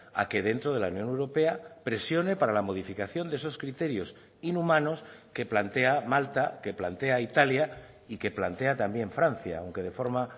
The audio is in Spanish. a que dentro de la unión europea presione para la modificación de esos criterios inhumanos que plantea malta que plantea italia y que plantea también francia aunque de forma